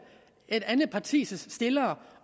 et andet partis stillere